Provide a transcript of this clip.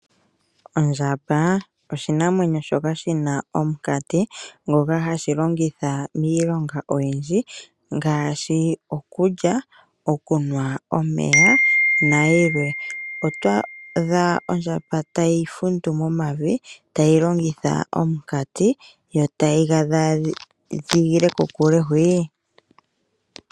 Ondjamba oshinamwenyo shoka shina omukati ngoka hashi longitha miilongo oyindji ngaashi okulya okunwa omeya nayilwe. Oto adha ondjamba tayi fundu momavi tayi longitha omukati yo tayi ga dhaadhigile kokule hwii.